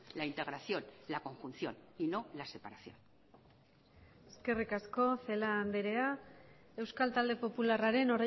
la integración la conjunción y no la separación eskerrik asko celaá andrea euskal talde popularraren